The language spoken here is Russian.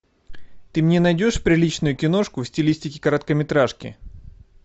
ты мне найдешь приличную киношку в стилистике короткометражки